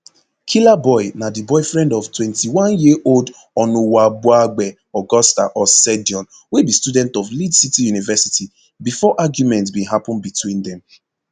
killaboi na di boyfriend of twenty-oneyearold onuwabuagbe augusta osedion wey be student of lead city university bifor argument bin happun between dem